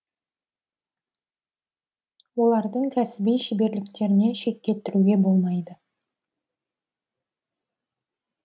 олардың кәсіби шеберліктеріне шек келтіруге болмайды